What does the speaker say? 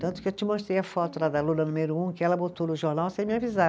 Tanto que eu te mostrei a foto né, da aluna número um, que ela botou no jornal sem me avisar.